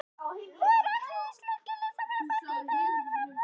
Nú eru allir íslenskir listamenn farnir frá Flórens til Parísar.